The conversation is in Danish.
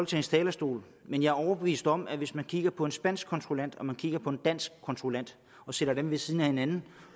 talerstol men jeg er overbevist om at hvis man kigger på en spansk kontrollant og man kigger på en dansk kontrollant og sætter dem ved siden af hinanden